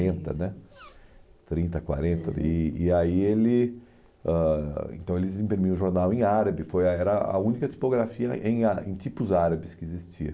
né, trinta, quarenta. E e aí ele, ãh então ele desempenhou o jornal em árabe, foi ah era a única tipografia em ára em tipos árabes que existia.